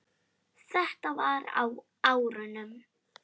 Þetta var á árunum